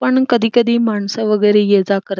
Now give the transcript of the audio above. पण कधी कधी माणस वगैरे ये जा कर --